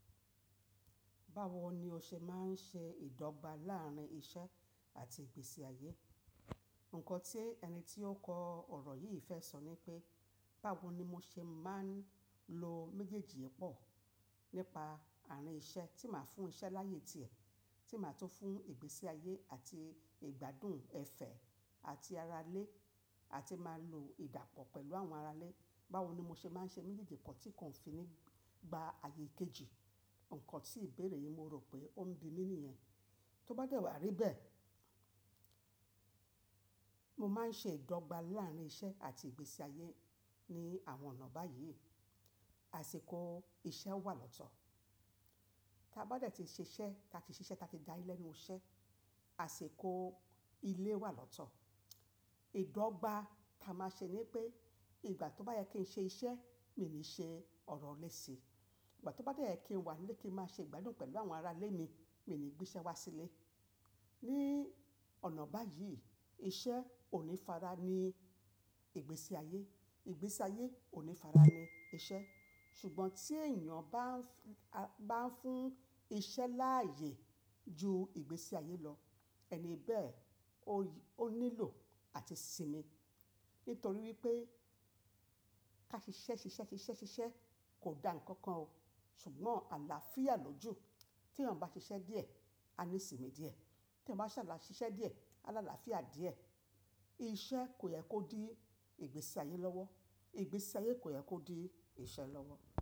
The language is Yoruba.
Báwo ni o ṣe máa ń ṣe ìdọ́gba láàrín iṣẹ́ àti ìgbésí ayé? Ǹkan tí ẹni tí ó kọ ọ̀rọ̀ yìí fẹ́ sọ ni pé báwo ni mo ṣe máa ń lo méjèèjì ẹ́ pọ̀ nípa àárín iṣẹ́ tí màá fún iṣẹ́ láàyè tiẹ̀, tí màá tún fún ìgbésí ayé àti ìgbádùn, ẹfẹ̀ àti ará ilé àti máa lo ìdàpọ̀ pẹ̀lú àwọn ará ilé. Báwo ni mo ṣe máa ń ṣe méjèèjì pọ̀ tí kan o ń fi nígba ayé ikejì? Ǹkan tí ìbéèrè yìí mo rò pé ó ń bi mí nìyẹn. Tóbá dẹ́ wà rí bẹ́ẹ̀, mo máa ń ṣe ìdọ́gba láàrín iṣẹ́ àti ìgbésí ayé ní àwọn ọ̀nà báyìí. Àṣekó iṣẹ́ wà lọ́tọ̀. Tábá dẹ́ ti ń ṣiṣẹ́, ta ti ṣiṣẹ́, ta ti dá ẹ lẹ́nu iṣẹ́, àṣekó ilé wà lọ́tọ̀. Ìdọ́gba tá a máa ṣe ni pé ìgbà tó bá yẹ kí n ṣe iṣẹ́, mi ò ní ṣe ọ̀rọ̀ léèṣe. Ìgbà tó bá yẹ kí n wà nílé kí n máa ṣe ìgbádùn pẹ̀lú àwọn ará ilé mi, mi ò ní gbé iṣẹ́ wá sílé. Ní ọ̀nà báyìí iṣẹ́ ò ní fará ní ìgbésí ayé, ìgbésí ayé ò ní fará ní iṣẹ́. Ṣùgbọ́n tí ènìyàn bá ń f- bá ń fún iṣẹ́ láàyè ju ìgbésí ayé lọ, ẹni bẹ́ẹ̀ ó ó nílò àti sìmi. Nítorí wípé ká ṣiṣẹ́, ṣiṣẹ́, ṣiṣẹ́, ṣiṣẹ́ kò da ǹkan kan o. Ṣùgbọ́n àlàáfíà lójú. Tí ènìyàn bá ṣiṣẹ́ díẹ̀, á ní sìmi díẹ̀. Tí ẹyan bá ṣàlà ṣiṣẹ́ díẹ̀, á lá àlàáfíà díẹ̀. Iṣẹ́ kò yẹ kó di ìgbésí ayé lọ́wọ́, ìgbésí ayé kò yẹ kó di iṣẹ́ lọ́wọ́.